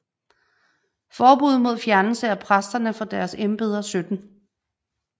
Forbud mod fjernelse af præster fra deres embeder 17